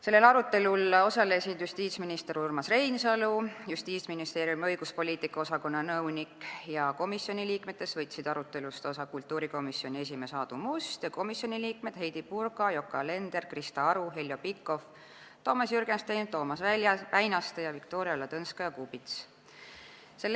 Sellel arutelul osalesid justiitsminister Urmas Reinsalu ja Justiitsministeeriumi õiguspoliitika osakonna nõunik ning komisjoni liikmetest võtsid arutelust osa kultuurikomisjoni esimees Aadu Must ja komisjoni liikmed Heidy Purga, Yoko Alender, Krista Aru, Heljo Pikhof, Toomas Jürgenstein, Toomas Väinaste ja Viktoria Ladõnskaja-Kubits.